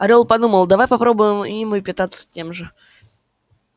орёл подумал давай попробуем и мы питаться тем же